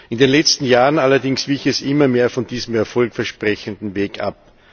In den letzten Jahren allerdings wich es immer mehr von diesem erfolgversprechenden Weg ab.